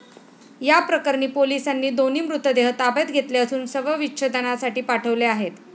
याप्रकरणी पोलिसांनी दोन्ही मृतदेह ताब्यात घेतले असून शवविच्छेदनासाठी पाठवले आहे.